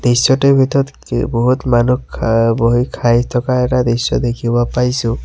দৃশ্যটোৰ ভিতৰত কি বহুত মানুহ খা বহি খাই থকা এটা দৃশ্য দেখিব পাইছোঁ।